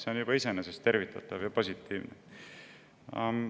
See juba iseenesest on tervitatav ja positiivne.